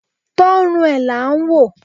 Tọ rùn e la ń wọ